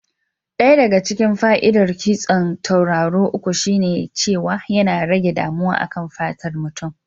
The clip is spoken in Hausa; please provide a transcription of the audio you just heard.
Ɗaya daga cikin fa'idar kitson tauraro uku shine cewa yana rage damuwa a kan fatar mutum.